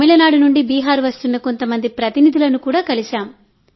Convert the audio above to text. తమిళనాడు నుండి బీహార్ వస్తున్న కొంతమంది ప్రతినిధులను కూడా కలిశాం